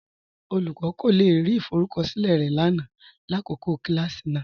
Olúkọni kò le rí ìfọrùkọṣilẹ̀ rẹ lánà làkọkọ̀ kilàsí náà.